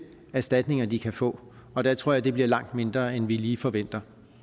erstatninger de kan få og der tror jeg det bliver langt mindre end vi lige forventer